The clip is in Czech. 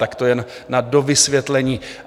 Tak to jen na dovysvětlení.